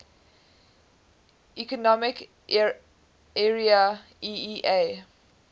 economic area eea